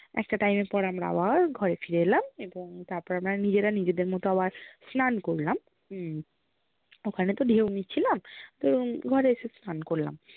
একটা time এর পর আমরা আবার ঘরে ফিরে এলাম এবং তারপর আমরা নিজেরা নিজেদের মতন আবার স্নান করলাম, হম ওখানে তো ঢেউ নিছিলাম তো ঘরে এসে স্নান করলাম